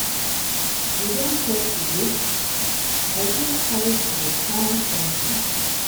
You don chop today? I fit help you find something.